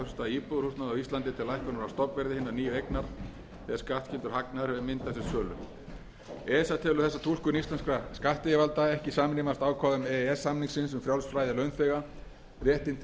stofnverði hinnar nýju eignar þegar skattskyldur hagnaður hefur myndast við sölu esa telur þessa túlkun íslenskra skattyfirvalda ekki samrýmast ákvæðum e e s samningsins um frjálst flæði launþega réttinn til